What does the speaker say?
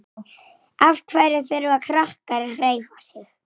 SKÚLI: Hlustum á Jón beyki!